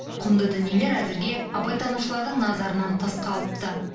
құнды дүниелер әзірге абайтанушылардың назарынан тыс қалыпты